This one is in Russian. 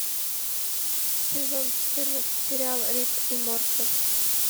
сезон четырнадцать сериал рик и морти